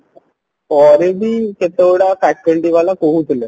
ପରେ ବି କେତେ ଗୁଡା faculty ବାଲା କହୁଥିଲେ